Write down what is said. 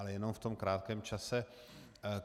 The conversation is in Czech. Ale jenom v tom krátkém čase.